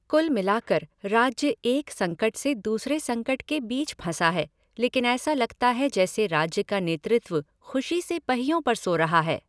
कुल मिलाकर, राज्य एक संकट से दूसरे संकट के बीच फंसा है लेकिन ऐसा लगता है जैसे राज्य का नेतृत्व खुशी से पहियों पर सो रहा है